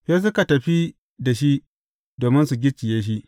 Sai suka tafi da shi, domin su gicciye shi.